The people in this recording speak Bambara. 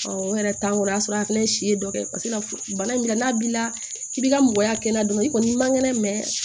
o yɛrɛ y'a sɔrɔ a fɛnɛ si ye dɔ kɛ paseke bana in n'a b'i la k'i b'i ka mɔgɔya kɛnɛ dɔrɔn i kɔni man kɛnɛ mɛ